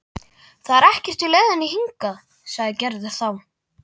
Það er ekkert í leiðinni hingað, sagði Gerður þá.